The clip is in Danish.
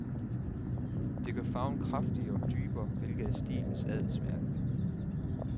Det gør farven kraftigere og dybere, hvilket er stilens adelsmærke.